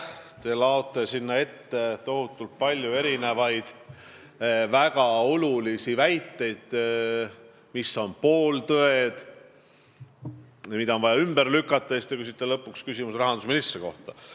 Te laote kõige ette tohutult palju väga olulisi väiteid, mis on pooltõed ja mida on vaja ümber lükata, ja lõpuks küsite küsimuse rahandusministri kohta.